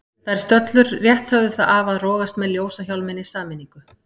Þær stöllur rétt höfðu það af að rogast með ljósahjálminn í sameiningu.